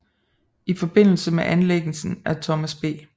I forbindelse med anlæggelsen af Thomas B